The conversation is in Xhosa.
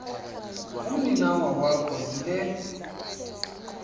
umninawa wakho yile